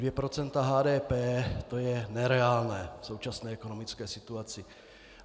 Dvě procenta HDP - to je nereálné v současné ekonomické situaci.